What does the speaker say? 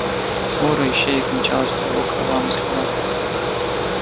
свора ищеек мчалась по его кровавым следам